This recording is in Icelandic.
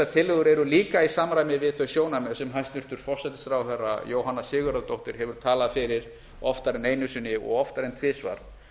tillögur eru líka í samræmi við þau sjónarmið sem hæstvirtur forsætisráðherra jóhanna sigurðardóttir hefur talað fyrir oftar en einu sinni og oftar en tvisvar